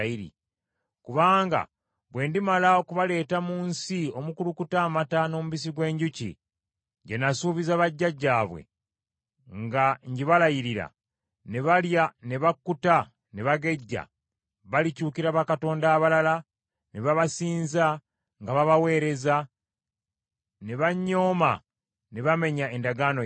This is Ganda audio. Kubanga bwe ndimala okubaleeta mu nsi omukulukuta amata n’omubisi gw’enjuki, gye nasuubiza bajjajjaabwe nga ngibalayirira, ne balya ne bakkuta ne bagejja, balikyukira bakatonda abalala ne babasinza nga babaweereza, ne bannyooma ne bamenya endagaano yange.